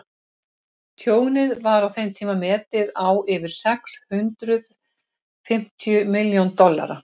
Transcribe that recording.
tjónið var á þeim tíma metið á yfir sex hundruð fimmtíu milljón dollara